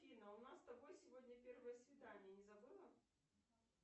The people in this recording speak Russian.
афина у нас с тобой сегодня первое свидание не забыла